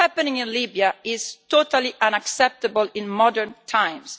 What is happening in Libya is totally unacceptable in modern times.